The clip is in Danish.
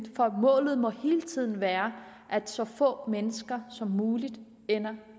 for målet må hele tiden være at så få mennesker som muligt ender